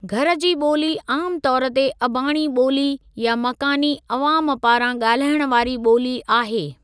घर जी ॿोली आम तौर ते अबाणी ॿोली या मकानी अवाम पारां गाल्हाइण वारी ॿोली आहे।